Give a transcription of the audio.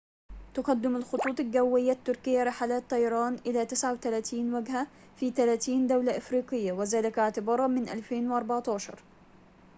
تقدم الخطوط الجوية التركية رحلات طيران إلى 39 وجهة في 30 دولة أفريقية وذلك اعتباراً من 2014